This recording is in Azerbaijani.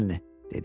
Çək əlini, dedi.